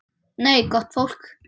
Nei, gott fólk.